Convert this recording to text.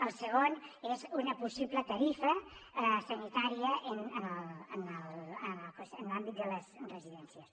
el segon és una possible tarifa sanitària en l’àmbit de les residències